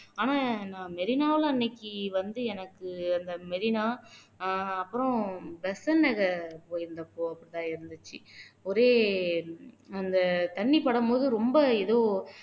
ஆனா நான் மெரினாவுல அன்னைக்கு வந்து எனக்கு அந்த மெரினா அப்புறம் பெசன்ட் நகர் போயிருந்தப்போ அப்படித்தான் இருந்துச்சு ஒரே அந்த தண்ணி படும்போது ரொம்ப ஏதோ